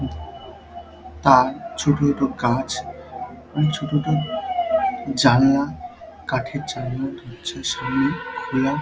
উম তার ছোট ছোট গাছ আর ছোট ছোট জানলা কাঠের জানলা দরজার সামনে খোলা ।